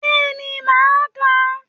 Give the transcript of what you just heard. Bẹ́ẹ̀ni màá kàá